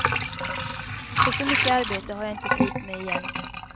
För så mycket arbete har jag inte tid med igen.